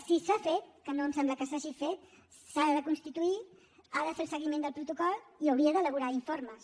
si s’ha fet que no ens sembla que s’hagi fet s’ha de constituir ha de fer el seguiment del protocol i hauria d’elaborar informes